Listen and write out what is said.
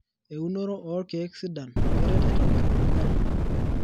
Eunoro oo kiek sidan keret aitobir omanyara.